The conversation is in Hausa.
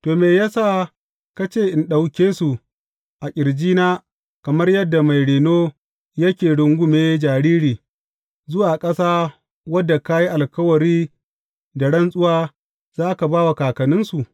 To, me ya sa ka ce in ɗauke su a ƙirjina kamar yadda mai reno yake rungume jariri, zuwa ƙasa wadda ka yi alkawari da rantsuwa za ka ba wa kakanninsu?